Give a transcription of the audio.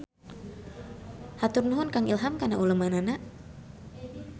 Hatur nuhun Kang Ilham kana ulemanana.